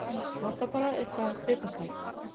Vantar bara eitthvað bitastætt.